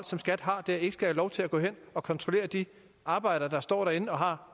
der ikke skal have lov til at gå ind og kontrollere de arbejdere der står derinde og har